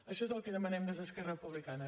això és el que demanem des d’es·querra republicana